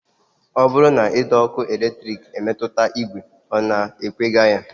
Ọ bụrụ na ụdọọkụ eletrik emetụta ìgwè, ọ na-ekwega ya